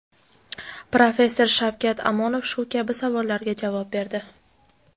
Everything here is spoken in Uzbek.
professor Shavkat Amonov shu kabi savollarga javob berdi.